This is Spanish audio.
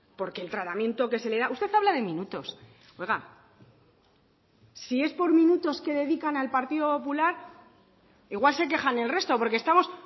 porque el tratamiento que se le da usted habla de minutos oiga si es por minutos que dedican al partido popular igual se quejan el resto porque estamos